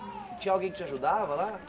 Tinha alguém que te ajudava lá?